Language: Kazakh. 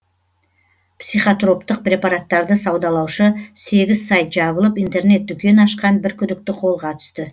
психотроптық препараттарды саудалаушы сегіз сайт жабылып интернет дүкен ашқан бір күдікті қолға түсті